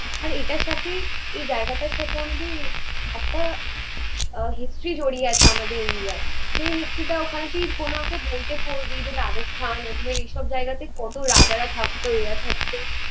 আর এটার সাথে এই জায়গাটার সাথে আমাদের একটা আহ history জড়িয়ে আছে আমাদের ইন্ডিয়ার। যে history টা কোনো আমাদের বইতে পড়বি যে রাজস্থান, আজমীর এসব জায়গাতে কত রাজারা থাকতো এরা থাকতো